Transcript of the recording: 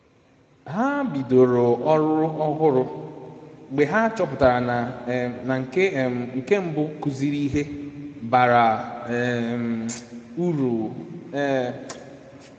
Ha bidoro ọrụ ọhụrụ mgbe ha chọpụtara na nke um mbụ kuziri ihe bara um uru um um